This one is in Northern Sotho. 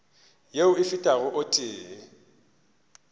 yeo e fetago o tee